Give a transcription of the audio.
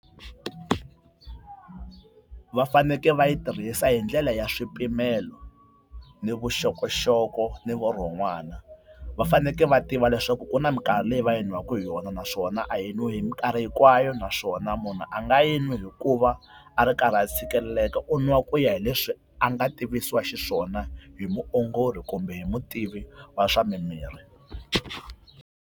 Va fanekele va yi tirhisa hi ndlela ya swipimelo ni vuxokoxoko ni vurhon'wana. Va fanekele va tiva leswaku ku na minkarhi leyi va yi nwaka hi yona, naswona a yi nwiwi hi minkarhi hinkwayo naswona munhu a nga yi nwi hikuva a ri karhi a tshikeleleka u nwa ku ya hi leswi a nga tivisiwa xiswona hi muongori kumbe hi mutivi wa swa mimirhi.